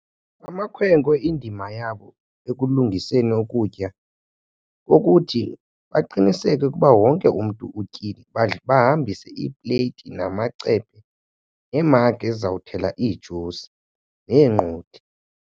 Amakhwenkwe indima yabo ekulungiseni ukutya kukuthi baqiniseke ukuba wonke umntu utyile. Bahambise iipleyiti namacephe, iimagi ezizawuthela ijusi neenqodi.